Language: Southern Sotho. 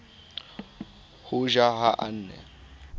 ho ja ha a ne